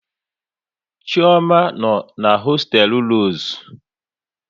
Chioma no n'hosteelu Rosu